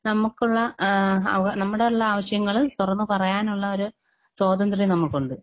നമ്മക്കുള്ള ആഹ് അവ നമ്മടുള്ള ആവശ്യങ്ങള് തൊറന്ന് പറയാനുള്ള ഒരു സ്വാതന്ത്ര്യം നമുക്കുണ്ട്.